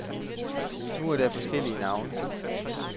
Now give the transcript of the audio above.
Nu er der flere forskellige navne.